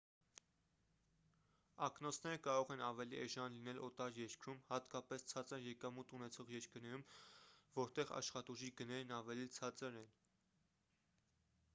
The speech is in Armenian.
ակնոցները կարող են ավելի էժան լինել օտար երկրում հատկապես ցածր եկամուտ ունեցող երկրներում որտեղ աշխատուժի գներն ավելի ցածր են